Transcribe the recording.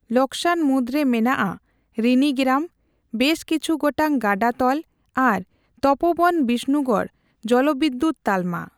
ᱞᱚᱠᱥᱟᱱ ᱢᱩᱫᱨᱮ ᱢᱮᱱᱟᱜᱼᱟ ᱨᱤᱱᱤ ᱜᱮᱨᱟᱢ, ᱵᱮᱥ ᱠᱤᱪᱦᱷᱩ ᱜᱚᱴᱟᱝ ᱜᱟᱰᱟ ᱛᱚᱞ ᱟᱨ ᱛᱚᱯᱚᱵᱚᱱ ᱵᱤᱥᱱᱩᱜᱚᱲ ᱡᱚᱞᱚᱵᱤᱫᱩᱛ ᱛᱟᱞᱢᱟ ᱾